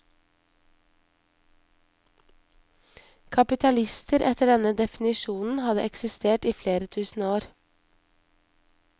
Kapitalister etter denne definisjonen hadde eksistert i flere tusen år.